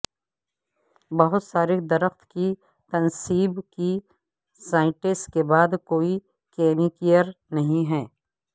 بہت سارے درخت کی تنصیب کی سائٹس کے بعد کوئی کمکیئر نہیں ہے